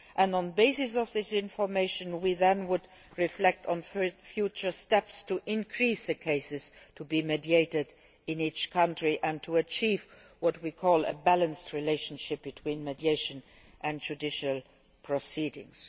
On the basis of this information we would then reflect on future steps to increase the cases to be mediated in each country and to achieve what we call a balanced relationship between mediation and judicial proceedings.